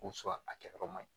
Ko a kɛyɔrɔ ma ɲi